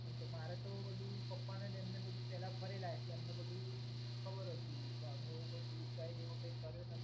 કેમકે મારે તો બધુ પપ્પા અને એ પેલા ફરેલા એટલે એમને બધુ ખબર હતી. તો અમે કોઈ એવો ટુર ગાઈડ અમે કર્યો નથી.